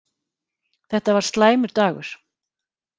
Þetta var slæmur dagur.